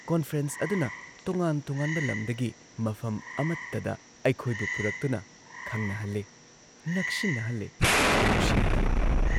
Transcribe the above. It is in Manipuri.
ꯀꯣꯟꯐ꯭ꯔꯦꯟꯁ ꯑꯗꯨꯅ ꯇꯣꯉꯥꯟ ꯇꯣꯉꯥꯟꯕ ꯂꯝꯗꯒꯤ ꯃꯐꯝ ꯑꯃꯠꯇꯗ ꯑꯩꯈꯣꯏꯕꯨ ꯄꯨꯔꯛꯇꯨꯅ ꯈꯪꯅꯍꯜꯂꯦ, ꯅꯛꯁꯤꯟꯅꯍꯜꯂꯦ, ꯅꯨꯡꯁꯤꯅꯍꯜꯂꯦ